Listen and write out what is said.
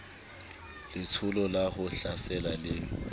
letsholo la ho hlasela le